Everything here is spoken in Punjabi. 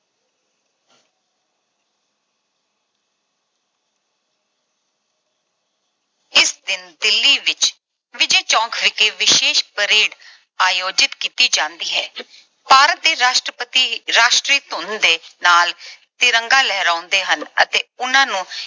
ਇਸ ਦਿਨ ਦਿੱਲੀ ਵਿੱਚ ਵਿਜੈ ਚੌਂਕ ਵਿਖੇ ਵਿਸ਼ੇਸ਼ parade ਆਯੋਜਿਤ ਕੀਤੀ ਜਾਂਦੀ ਹੈ। ਭਾਰਤ ਦੇ ਰਾਸ਼ਟਰਪਤੀ ਇੱਕ ਰਾਸ਼ਟਰੀ ਧੁਨ ਦੇ ਨਾਲ ਤਿਰੰਗਾ ਲਹਿਰਾਉਂਦੇ ਹਨ ਅਤੇ ਉਹਨਾਂ ਨੂੰ